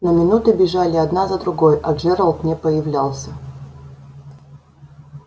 но минуты бежали одна за другой а джералд не появлялся